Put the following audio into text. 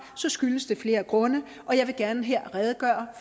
skyldes det flere grunde og jeg vil gerne her redegøre